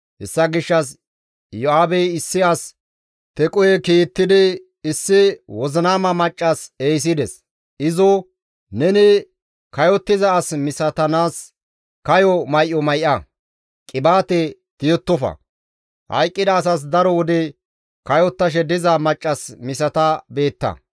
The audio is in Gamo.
Hessa gishshas Iyo7aabey issi as Tequhe kiittidi issi wozinama maccas ehisides; izo, «Neni kayottiza as misatanaas kayo may7o may7a; qibaate tiyettofa; hayqqida asas daro wode kayottashe diza maccas misata beetta.